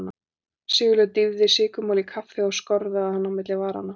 Sigurlaug dýfði sykurmola í kaffið og skorðaði hann á milli varanna.